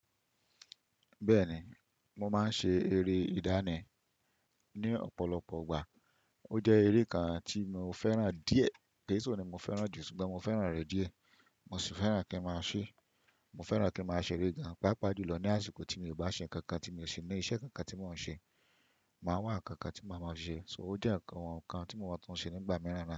Bẹ́ẹ̀ni, mo máa ń ṣe eré ìdáraya ní ọ̀pọ̀lọpọ̀ igbà. Ó jẹ́ eré kan tí mò fẹ́ràn díẹ̀. Kì í se oun ni mo fẹ́ràn jù, ṣùgbọ́n mo fẹ́ràn rẹ̀ díẹ̀. Mo sì fẹ́ràn kí n máa ṣe, mo fẹ́ràn kí n máa ṣeré gan páápàá jùlọ ní àsìkò tí mi ò bá ṣe ǹkan kan tí mo ṣe ní iṣẹ́ kan kan tí mò ń ṣe. Màá wá ǹkan kan tí màá máa ṣe. So ó jẹ́ ǹkan kan tí mo máa tún ṣe nígbà mìíràn.